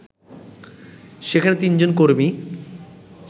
সেখানে তিনজন কর্মী